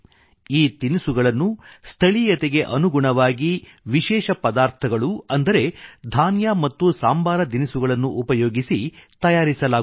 ಈ ತಿನಿಸುಗಳನ್ನು ಸ್ಥಳೀಯತೆಗೆ ಅನುಗುಣವಾಗಿ ವಿಶೇಷ ಪದಾರ್ಥಗಳು ಅಂದರೆ ಧಾನ್ಯ ಮತ್ತು ಸಾಂಬಾರ ದಿನಿಸುಗಳನ್ನು ಉಪಯೋಗಿಸಿ ತಯಾರಿಸಲಾಗುತ್ತದೆ